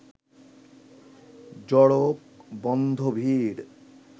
জড়কবন্ধ ভিড়